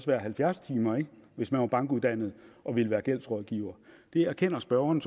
være halvfjerds timer hvis man var bankuddannet og ville være gældsrådgiver det erkender spørgeren